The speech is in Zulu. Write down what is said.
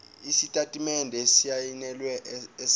isitatimende esisayinelwe esivela